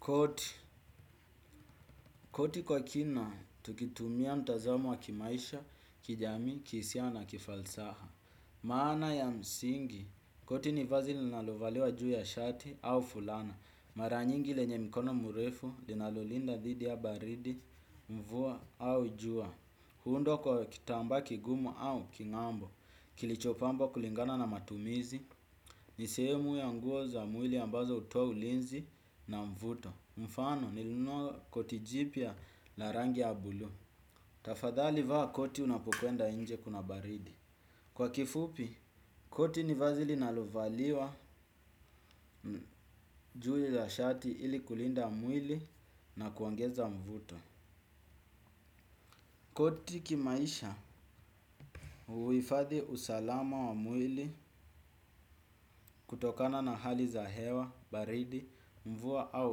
Koti, koti kwa kina, tukitumia mtazamo wa kimaisha, kijamii, kihisia na, kifalsaha. Maana ya msingi, koti ni vazi linalovaliwa juu ya shati au fulana. Mara nyingi lenye mkono murefu, linalolinda dhidi ya baridi, mvua au jua. Huundwa kwa kitamba kigumu au kingambo, kilichopambwa kulingana na matumizi. Ni sehemu ya nguo za mwili ambazo hutoa ulinzi na mvuto. Mfano nilinunua koti jipya la rangi ya buluu. Tafadhali vaa koti unapokwenda inje kuna baridi. Kwa kifupi, koti ni vazi linalo valiwa juu la shati ili kulinda mwili na kuongeza mvuto. Koti kimaisha uifadhi usalama wa mwili kutokana na hali za hewa, baridi, mvua au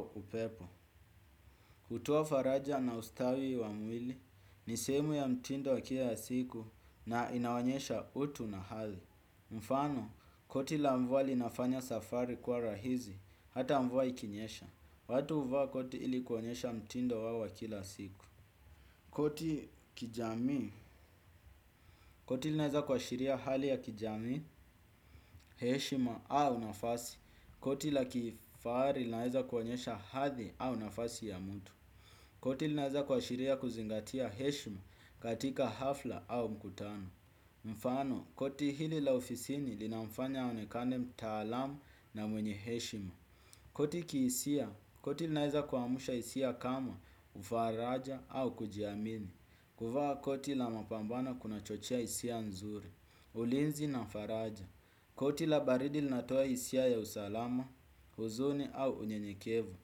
upepo. Hutoa faraja na ustawi wa mwili ni sehemu ya mtindo wa kila siku na inaonyesha utu na hali. Mfano koti la mvua linafanya safari kwa rahizi hata mvua ikinyesha. Watu huvaa koti ili kuonyesha mtindo wawa kila siku. Koti kijamii, koti linaeza kuashiria hali ya kijamii, heshima au nafasi. Koti la kifahari linaeza kuonyesha hathi au nafasi ya mtu. Koti linaeza kwa shiria kuzingatia heshima katika hafla au mkutano. Mfano, koti hili la ofisini linafanya aonekane mtaalamu na mwenye heshima. Koti kihisia, koti linaeza kuamusha hisia kama ufaraja au kujiamini. Kuvaa koti la mapambano kuna chochea isia nzuri. Ulinzi na faraja. Koti la baridi linatoa isia ya usalama, huzuni au unyenyekevu.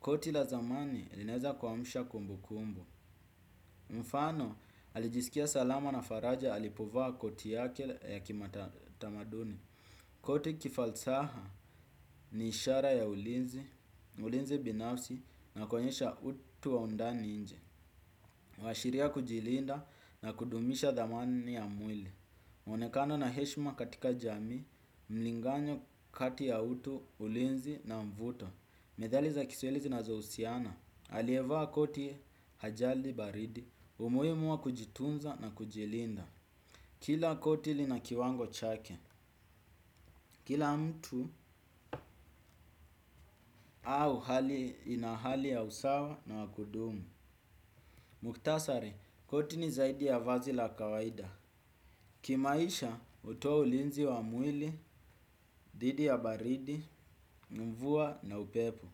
Koti la zamani linaeza kuamusha kumbu kumbu. Mfano, alijisikia salama na faraja alipovaa koti yake ya kimatamaduni. Koti kifalsaha ni ishara ya ulinzi. Ulinzi binafsi na kuonyesha utu wa undani inje huashiria kujilinda na kudumisha dhamani ya mwili. Onekano na heshma katika jamii mlingano kati ya utu ulinzi na mvuto medhali za kiswahili zinazohusiana alievaa koti hajali baridi. Umuhimu wa kujitunza na kujilinda kila koti lina kiwango chake. Kila mtu au hali ina hali ya usawa na wakudumu. Muktasari koti ni zaidi ya vazil a kawaida. Kimaisha hutoa ulinzi wa mwili, dhidi ya baridi, mvua na upepo.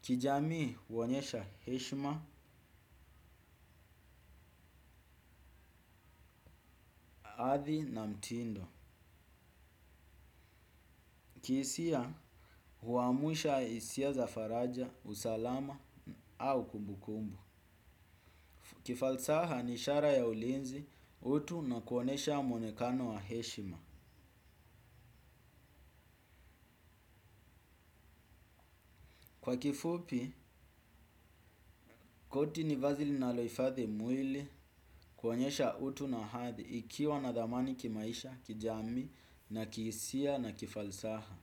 Kijamii huonyesha heshima, adhi na mtindo. Kihisia huwamusha hisia za faraja, usalama au kumbukumbu. Kifalsaha ni ishara ya ulinzi utu na kuonesha mwonekano wa heshima. Kwa kifupi, koti ni vazi linalohfathi mwili kuonyesha utu na hadhi ikiwa nadhamani kimaisha, kijamii na kihisia na kifalsaha.